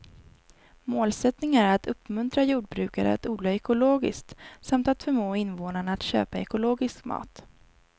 Målsättningen är att uppmuntra jordbrukare att odla ekologiskt samt att förmå invånarna att köpa ekologisk mat.